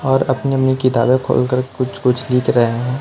और अपनी अपनी किताबें खोलकर कुछ कुछ लिख रहे हैं।